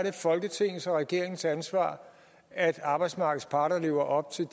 folketingets og regeringens ansvar at arbejdsmarkedets parter lever op til